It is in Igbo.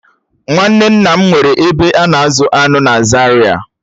Nwanne nna m nwere ebe a na-azụ aṅụ na Zaria